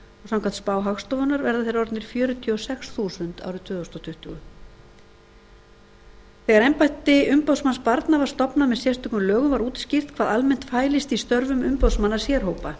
samkvæmt spá hagstofunnar verða þeir orðnir um fjörutíu og sex þúsund árið tvö þúsund tuttugu þegar embætti umboðsmanns barna var stofnað með sérstökum lögum var útskýrt hvað almennt fælist í störfum umboðsmanna sérhópa